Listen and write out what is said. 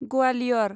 Gwalior